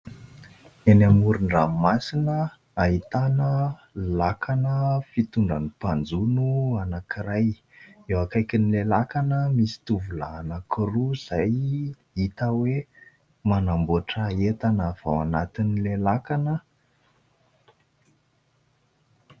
Eny amoron-dranomasina ahitana lakana fitondran'ny mpanjono anankiray. Eo akaikin'ilay lakana misy tovolahy anankiroa izay hita hoe manamboatra entana avy ao anatin'ilay lakana.